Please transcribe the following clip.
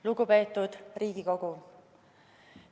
Lugupeetud Riigikogu!